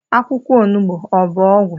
Akwukwo onugbu Abu ogwu?